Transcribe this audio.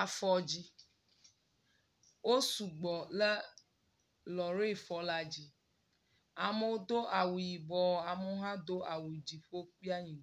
afɔdzi, wosu gbɔ le lɔri fɔ la dzi amewo do awu yibɔ ame aɖewo hã do awu dziƒo kple anyi.